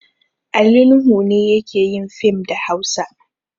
Ali Nuhu ne yake yin fim da Hausa.